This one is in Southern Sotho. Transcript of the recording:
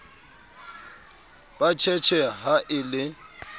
ba tjhetjhe ha e le